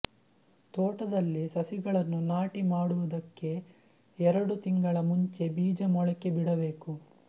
ತೋಟದಲ್ಲಿ ಸಸಿಗಳನ್ನು ನಾಟಿ ಮಾಡುವುದಕ್ಕೆ ಎರಡು ತಿಂಗಳ ಮುಂಚೆ ಬೀಜ ಮೊಳಕೆ ಬಿಡಬೇಕು